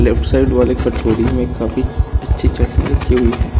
Left side वाले कटोरी में काफी अच्छी चट्टनी रखी हुई है।